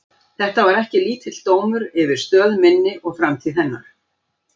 Þetta var ekki lítill dómur yfir stöð minni og framtíð hennar!